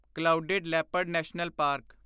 clouded leopard national park